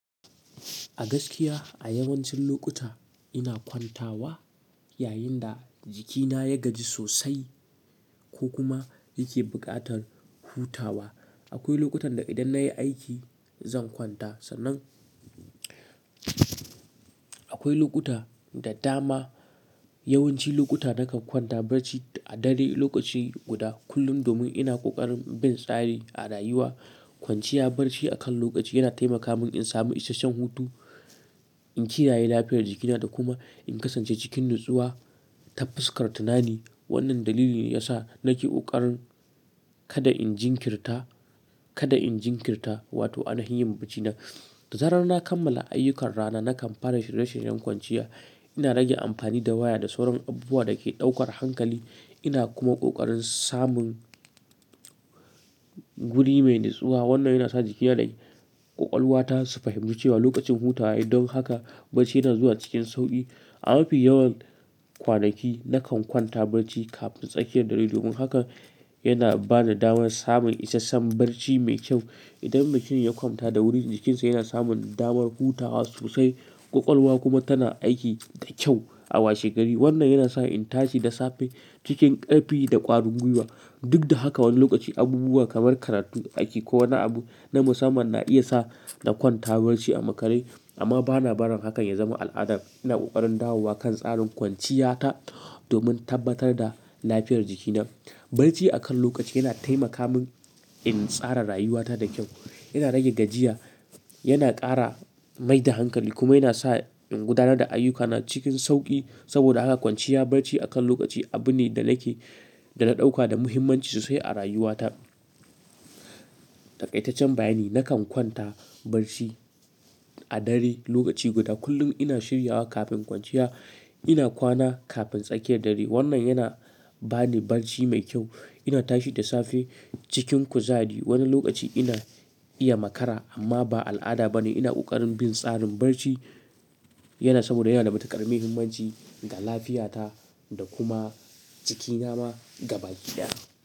A gaskiya a yawancin lokuta ina kwantawa yayin da jikina ya gaji sosai ko kuma yake buƙatar hutawa. Akwai lokutan da idan nayi aiki, zan kwanta, sannan akwai lokuta da dama yawanci lokuta nakan kwanta barci a dare lokaci guda kullum domin ina ƙoƙarin bin tsari a rayuwa. Kwanciya bacci akan lokaci yana taimaka min in samu isasshen hutu, in kiraye lafiyar jikina da kuma in kasance cikin natsuwa ta fuskar tunani. Wannan dalili ne ya sa nake ƙoƙarin kada in jinkirta, kada in jinkirta, wato ainahin yin baccina. Da zarar na kammala ayyukan rana nakan fara shirye shiryen kwanciya. Ina rage amfani da waya da sauran abubuwa da ke ɗaukar hankali. Ina kuma ƙoƙarin samun wuri mai nutsuwa. Wannan yana sa jikina da ƙwaƙwalwata su fahimci cewa lokacin hutawa yi don haka bacci yana zuwa cikin sauƙi. A mafi yawan kwanaki nakan kwanta bacci kafin tsakiyar dare domin haka yana bani damar samun isasshen bacci mai kyau. Idan mutum ya kwanta da wuri jikinsa yana samun damar hutawa sosai, ƙwaƙwalwa kuma tana aiki da kyau a washe gari. Wannan yana sa in tashi da safe cikin ƙarfi da ƙwarin gwiwa. Duk da haka wani lokaci abubuwa kamar karatu aiki ko wani abu na musamman na iya sa na kwanta barci a makare, amma bana barin hakan ya zama al'ada. Ina ƙoƙarin dawowa kan tsarin kwanciya ta domin tabbatar da lafiyar jikina. Bacci akan lokaci yana taimaka min, in tsara rayuwa ta da kyau. Yana rage gajiya, yana ƙara mai da hankali kuma yana sa in gudanar da ayyukana cikin sauƙi. Saboda haka kwanciya barci akan lokaci abu ne da nake, da na ɗauka da muhimmanci sosai a rayuwata. Taƙaitaccen bayani nakan kwanta barci a dare lokaci guda kullum. Ina shiryawa kafin kwanciya, ina kwana kafin tsakiyar dare. Wannan yana bani bacci mai kyau. Ina tashi da safe cikin kuzari. Wani lokaci ina iya makara amma ba al'ada ba ne. Ina ƙoƙarin bin tsarin barci yana saboda yana da matuƙar muhimmanci ga lafiyata da kuma jikina ma gaba ɗaya.